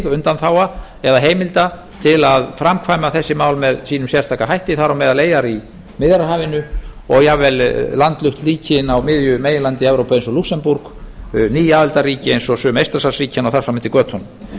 undanþágna eða heimilda til að framkvæma þessi mál með sínum sérstaka hætti þar á meðal eyjar í miðjarðarhafinu og jafnvel landlaust ríki inni á miðju meginlandi evrópu eins og lúxemborg ný aðildarríki eins og sum eystrasaltsríkjanna og þar fram eftir götunum